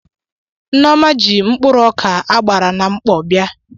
Nneọma ji mkpụrụ ọkà a gbara na mkpọ bịa.